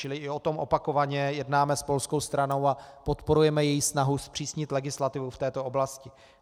Čili i o tom opakovaně jednáme s polskou stranou a podporujeme její snahu zpřísnit legislativu v této oblasti.